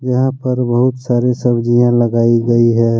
यहां पर बहुत सारी सब्जियां लगाई गई हैं।